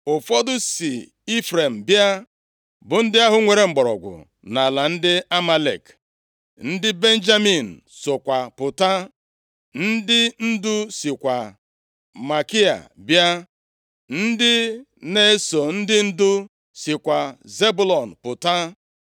Ụfọdụ si Ifrem bịa, bụ ndị ahụ nwere mgbọrọgwụ nʼala ndị Amalek, ndị Benjamin sokwa pụta, ndị ndu sikwa Makia bịa, ndị na-eso ndị ndu sikwa Zebụlọn pụta.